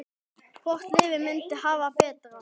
Hvort liðið myndi hafa betur?